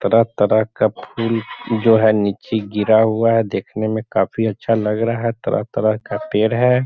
तरह-तरह का फुल जो है नीचे गिरा हुआ है देखने में काफी अच्छा लग रहा है तरह-तरह का पेड़ है।